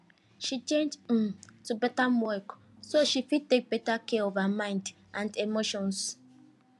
she change um to parttime work so she fit take better care of her mind and emotions